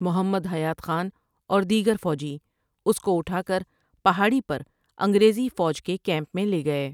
محمد حیات خان اور دیگر فوجی اس کو أٹھا کر پہاڑی پر انگریزی فوج کے کیمپ میں لے گۓ ۔